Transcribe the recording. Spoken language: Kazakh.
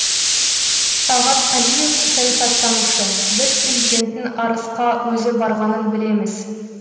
талғат қалиев саясаттанушы біз президенттің арысқа өзі барғанын білеміз